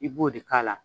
I b'o de k'a la